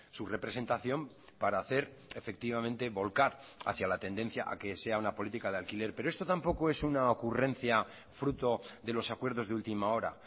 su representación para hacer efectivamente volcar hacia la tendencia a que sea una política de alquiler pero esto tampoco es una ocurrencia fruto de los acuerdos de última hora